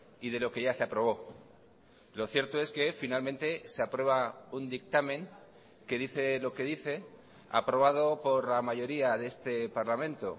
y de lo que ya se aprobó lo cierto es que finalmente se aprueba un dictamen que dice lo que dice aprobado por la mayoría de este parlamento